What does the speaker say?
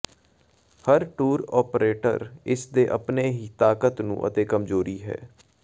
ਹਰ tour operator ਇਸ ਦੇ ਆਪਣੇ ਹੀ ਤਾਕਤ ਨੂੰ ਅਤੇ ਕਮਜ਼ੋਰੀ ਹੈ